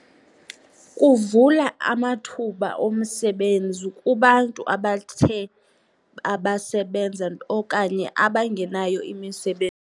Kuvula amathuba omsebenzi kubantu abathe babasebenza okanye abangenayo .